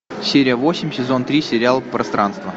серия восемь сезон три сериал пространство